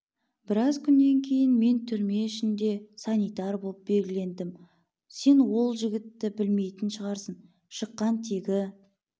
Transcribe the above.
біраз күннен кейін мен түрме ішінде санитар боп белгілендім сен ол жігітті білмейтін шығарсың шыққан тегі